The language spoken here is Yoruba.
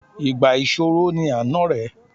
Ìgbà ìṣòro ni à ń ọ̀rẹ́.